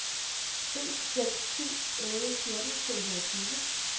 en seks syv otte fjorten to hundrede og tyve